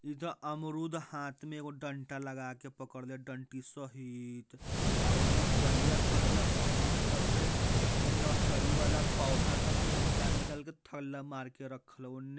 इ ता अमरूद हाथ में एगो डंडा लगा के पकड़ले हई डंटी सहित आ ओने करिया करिया पनिक सब में नर्सरी वाला पौधा सके निकाल निकाल के थल्ला मार के रखल हो ओने--